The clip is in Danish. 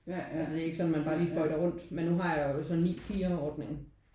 Altså det er jo ikke sådan at man bare lige føjer rundt men nu har jeg jo så en 9 til 4 ordning